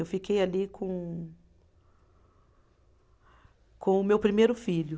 Eu fiquei ali com, com o meu primeiro filho.